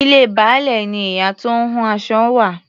Ilé Baálẹ̀ ni ìyá tó ń hun aṣọ wà.